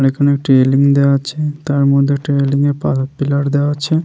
অনেকখানি একটি রেলিং দেওয়া আছে |তার মধ্যে একটা রেলিং -এ পা পিলার দেওয়া আছে।